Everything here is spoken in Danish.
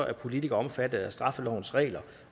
er politikere omfattet af straffelovens regler